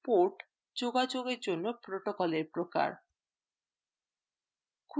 port যোগাযোগের জন্য protocolএর প্রকার